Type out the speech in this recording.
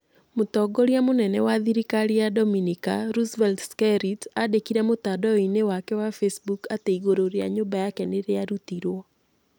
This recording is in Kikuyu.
Mũtongoria mũnene wa thirikari wa Dominica, Roosevelt Skerrit aandĩkire mũtandao-inĩ wake wa Facebook atĩ igũrũ rĩa nyũmba yake nĩ rĩa rutirwo.